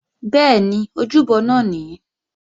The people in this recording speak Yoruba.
Bẹ́ẹ̀ni, ojúbọ náà nìí